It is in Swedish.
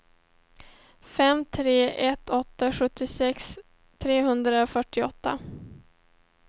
fem tre ett åtta sjuttiosex trehundrafyrtioåtta